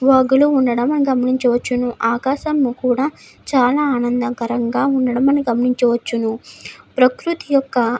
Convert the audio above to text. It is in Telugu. ఉండడం మనం గమనించవచ్చును. ఆకాశంలో కూడా చాలా ఆనందకరంగా ఉండడం మనం గమనించవచ్చును. ప్రకృతి ఒక్క --